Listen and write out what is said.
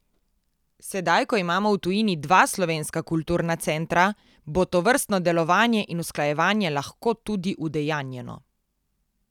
Sedaj, ko imamo v tujini dva slovenska kulturna centra, bo tovrstno delovanje in usklajevanje lahko tudi udejanjeno.